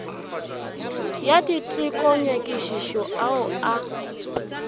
ya diteko nyakišišo ao a